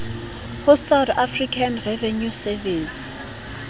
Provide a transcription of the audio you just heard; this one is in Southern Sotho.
ho south african revenue service